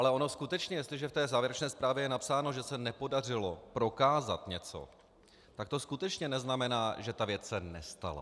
Ale ono skutečně, jestliže v té závěrečné zprávě je napsáno, že se nepodařilo prokázat něco, tak to skutečně neznamená, že se ta věc nestala.